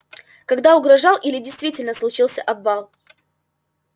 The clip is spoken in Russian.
когда угрожал или действительно случился обвал